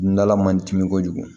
N dala man dimi kojugu